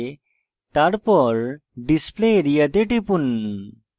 তারপর display area then টিপুন